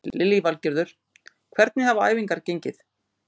Lillý Valgerður: Hvernig hafa æfingar gengið?